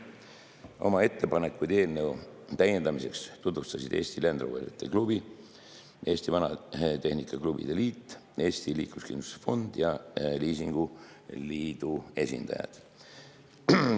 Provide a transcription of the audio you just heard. Oma ettepanekuid eelnõu täiendamiseks tutvustasid Eesti Land Roveri Klubi, Eesti Vanatehnika Klubide Liidu, Eesti Liikluskindlustuse Fondi ning Liisingliidu esindajad.